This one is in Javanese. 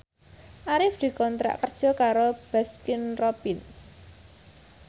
Arif dikontrak kerja karo Baskin Robbins